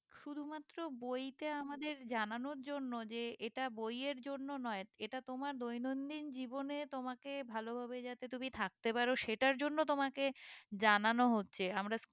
শুধু মাত্র বই তে আমাদের জানানোর জন্য যে এটা বইয়ের জন্য নয় এটা তোমার দৈনন্দিন জীবনে তোমাকে ভালো ভাবে যাতে তুমি থাকতে পারো সেটার জন্য তোমাকে জানানো হচ্ছে আমরা